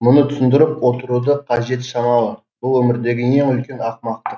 мұны түсіндіріп отырудың қажеті шамалы бұл өмірдегі ең үлкен ақымақтық